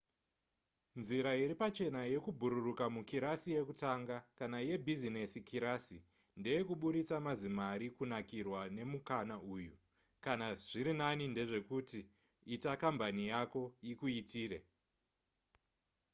nzira iri pachena yekubhururuka mukirasi yekutanga kana yebhizinesi kirasi ndeyekuburitsa mazimari kunakirwa nemukana uyu kana zvirinani ndezvekuti ita kambani yako ikuitire